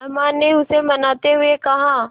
अम्मा ने उसे मनाते हुए कहा